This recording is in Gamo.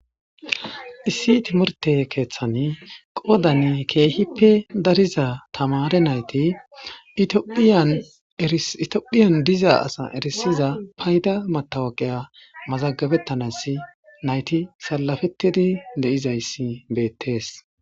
Issi timorte keeththani qoodan keehippe dariza tamare nayti itophiyan diza asa erisiza payda matawaqeya mazagabettanas nayti salafettidi de7izayssi beettees